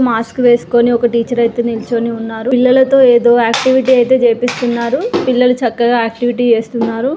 Mask వేసుకొని ఒక teacher అయితే నిలుచుని ఉన్నారు. పిల్లలతో ఏదో ఆక్టివిటీ అయితే చేపిస్తున్నారు. పిల్లలు చక్కగా ఆక్టివిటీ చేస్తున్నారు.